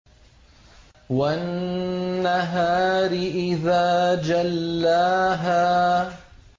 وَالنَّهَارِ إِذَا جَلَّاهَا